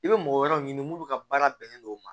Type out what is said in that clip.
I bɛ mɔgɔ wɛrɛw ɲini mulu ka baara bɛnnen don o ma